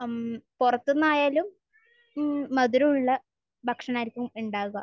മ്മ്. പുറത്ത് നിന്നായാലും മധുരമുള്ള ഭക്ഷണമായിരിക്കും ഉണ്ടാവുക.